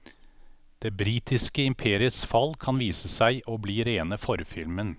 Det britiske imperiets fall kan vise seg å bli rene forfilmen.